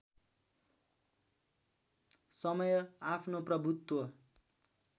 समय आफ्नो प्रभुत्व